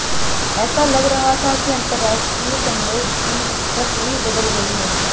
ऐसा लग रहा था कि अंतरराष्ट्रीय संघर्ष की तस्वीर बदल गई है